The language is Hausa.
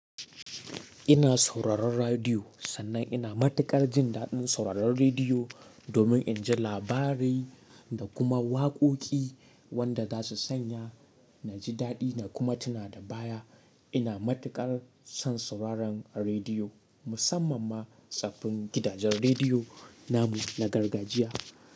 Ina sauraron radiyo sannan ina matuƙar jin daɗin sauraron radiyo domin in ji labari da kuma waƙoƙi wanda za su sanya na ji daɗi na kuma tuna da baya. Ina matuƙar son sauraron radiyo musamman ma tsofin gidajen radiyo namu na gargajiya.